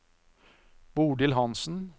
Bodil Hanssen